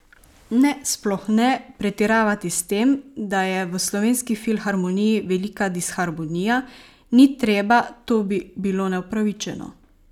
Ne, sploh ne, pretiravati s tem, da je v Slovenski filharmoniji velika disharmonija, ni treba, to bi bilo neupravičeno.